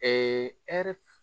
hɛrɛ